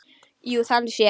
Jú, þannig séð.